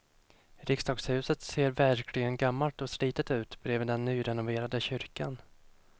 Riksdagshuset ser verkligen gammalt och slitet ut bredvid den nyrenoverade kyrkan.